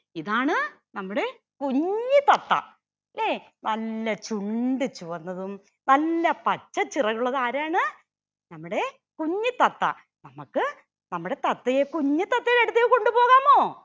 ഇതാണ് നമ്മുടെ കുഞ്ഞു തത്ത ല്ലെ നല്ല ചുണ്ട് ചുവന്നതും. നല്ല പച്ച ചിറകുള്ളത് ആരാണ് നമ്മുടെ കുഞ്ഞി തത്ത നമ്മക്ക് നമ്മുടെ തത്തയെ കുഞ്ഞി തത്തയുടെ അടുത്തേക്ക് കൊണ്ടുപോകാമോ